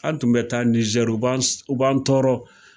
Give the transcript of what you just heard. An tun bɛ taa Nizɛri u ban tɔɔrɔ.